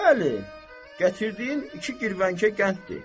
Bəli, gətirdiyin iki girvənkə qənddir.